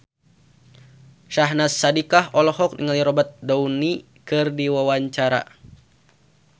Syahnaz Sadiqah olohok ningali Robert Downey keur diwawancara